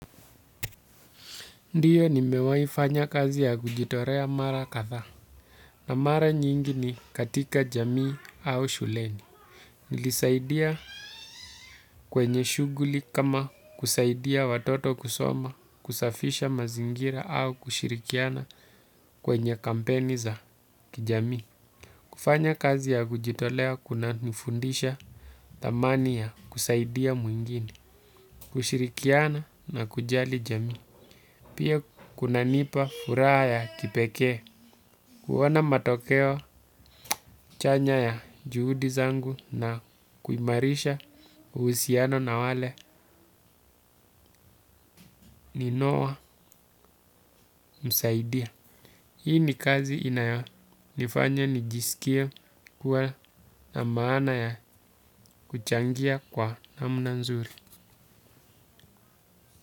Ndio nimewaifanya kazi ya kujitolea mara kadhaa na mara nyingi ni katika jamii au shuleni. Nilisaidia kwenye shughuli kama kusaidia watoto kusoma kusafisha mazingira au kushirikiana kwenye kampeni za kijamii. Kufanya kazi ya kujitolea kunanifundisha thamani ya kusaidia mwingini, kushirikiana na kujali jamii. Pia kunanipa furaha ya kipekee. Kuona matokeo chanya na kuimarisha uhusiano na wale ninayemsaidia hiyo ni kazi inayonifanya nijisikie kuwa na maana ya kuchangia kwa namna nzuri.